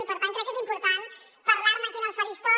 i per tant crec que és important parlar ne aquí en el faristol